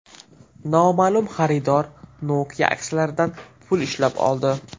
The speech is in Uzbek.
Noma’lum xaridor Nokia aksiyalaridan pul ishlab oldi.